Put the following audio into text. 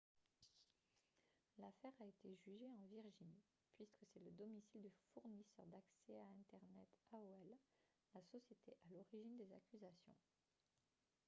l'affaire a été jugée en virginie puisque c'est le domicile du fournisseur d'accès à internet aol la société à l'origine des accusations